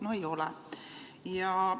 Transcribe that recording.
No ei ole!